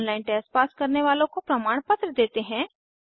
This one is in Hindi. ऑनलाइन टेस्ट पास करने वालों को प्रमाणपत्र देते हैं